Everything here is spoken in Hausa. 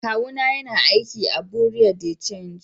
kawu na yana aiki a buerea de change.